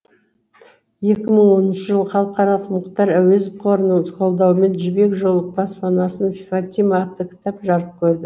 екі мың оныншы жылы халықаралық мұхтар әуезов қорының қолдауымен жібек жолы баспанасын фатима атты кітап жарық көрді